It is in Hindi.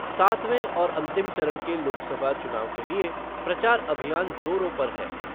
सातवें और अंतिम चरण के लोकसभा चुनाव के लिए प्रचार अभियान जोरों पर है।